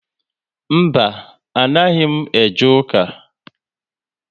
Mba, anaghị m eje ụka